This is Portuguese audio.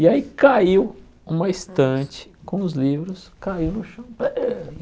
E aí caiu uma estante com os livros, caiu no chão. Bei